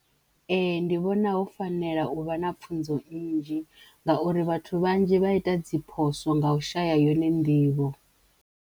Ee! Ndi vhona ho fanela uvha na pfunzo nnzhi ngauri vhathu vhanzhi vha ita dzi phoso nga u shaya yone nḓivho.